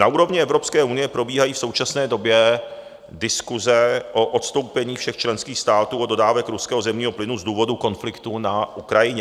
Na úrovni Evropské unie probíhají v současné době diskuse o odstoupení všech členských států od dodávek ruského zemního plynu z důvodu konfliktu na Ukrajině.